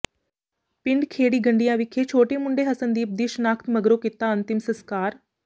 ਪਿੰਡ ਖੇੜੀ ਗੰਡਿਆ ਵਿਖੇ ਛੋਟੇ ਮੁੰਡੇ ਹਸਨਦੀਪ ਦੀ ਸ਼ਨਾਖਤ ਮਗਰੋਂ ਕੀਤਾ ਅੰਤਿਮ ਸਸਕਾਰ